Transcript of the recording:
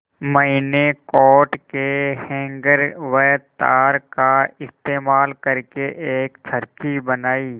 मैंने कोट के हैंगर व तार का इस्तेमाल करके एक चरखी बनाई